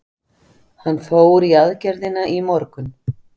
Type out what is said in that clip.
Hann fór í aðgerðina í morgun.